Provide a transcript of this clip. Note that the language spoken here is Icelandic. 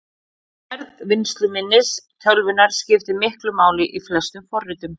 Stærð vinnsluminnis tölvunnar skiptir miklu máli í flestum forritum.